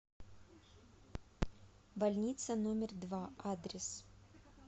больница номер два адрес